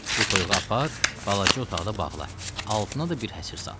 Bu toyuğu apar balaca otaqda bağla, altına da bir həsir sal.